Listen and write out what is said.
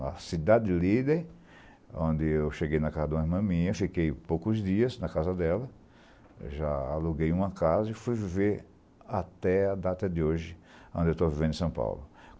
Na Cidade Líder, onde eu cheguei na casa de uma irmã minha, fiquei poucos dias na casa dela, já aluguei uma casa e fui viver até a data de hoje, onde eu estou vivendo em São Paulo.